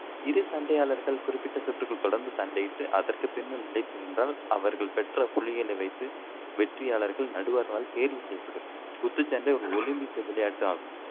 இரு சண்டையாளர்கள் குறிப்பிட்ட சுற்றுகள் தொடர்ந்து சண்டையிட்டு, அதற்கு பின்னும் நிலைத்து நின்றால் அவர்கள் பெற்ற புள்ளிகளை வைத்து வெற்றியாளர்கள் நடுவர்களால் தேர்வு செய்யப்படுவர். குத்துச்சண்டை ஒரு ஒலிம்பிக் விளையாட்டு ஆகும்.